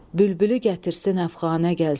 Bülbülü gətirsin əfqanə, gəlsin.